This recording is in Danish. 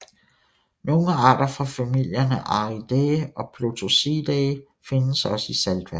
Nogle arter fra familierne Ariidae og Plotosidae findes også i saltvand